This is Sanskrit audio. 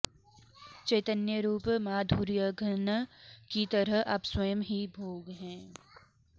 चैतन्यरूप माधुर्यघन की तरह आप स्वयं ही भोग हैं